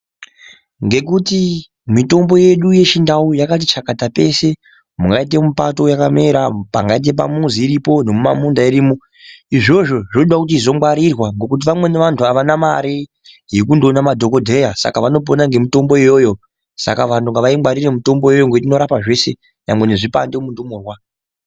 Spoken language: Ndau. Ngekuti mitombo yedu yechindau yakati chakata peshe, mungaite mupato yakamera, pangaite pamuzi iripo nemumamunda irimo izvozvo zvinoda kuti izongwarirwa ngekuti vamweni vantu avana mare yekundoona madhokodheya saka vanopona ngemutombo iyoyo, saka vantu ngavaingwarire mutomboyo ngekuti inorapa zveshe nyangwe nezvipande mundumurwa.